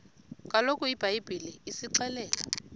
kaloku ibhayibhile isixelela